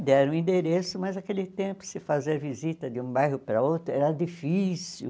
Deram o endereço, mas naquele tempo se fazer visita de um bairro para outro era difícil.